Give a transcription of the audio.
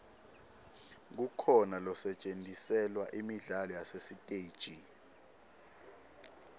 kukhona losetjentiselwa imidlalo yasesiteji